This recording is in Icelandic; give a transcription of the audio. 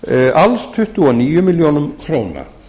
alls tuttugu og níu milljónir króna